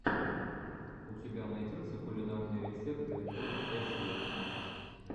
у тебя найдется кулинарные рецепты от эсви